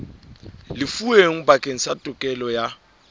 lefuweng bakeng sa tokelo ya